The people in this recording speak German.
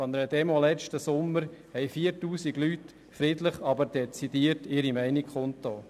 An einer Demonstration letzten Sommer haben 4000 Leute friedlich, aber dezidiert ihre Meinung kundgetan.